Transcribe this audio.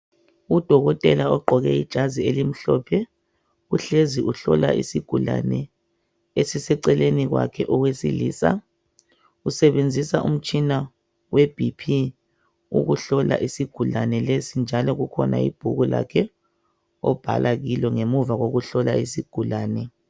Udokotela ogqoke ijazi elimhlophe uhlezi uhlola isigulane esiseceleni kwakhe owesilisa usebenzisa umtshina weBp ukuhlola isigulane lesi njalo kukhona ibhuku lakhe obhala kulo ngemuva kokuhlola isigulane.